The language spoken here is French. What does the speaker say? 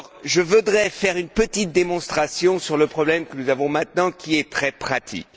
Je voudrais faire une petite démonstration sur le problème que nous avons maintenant, qui est très pratique.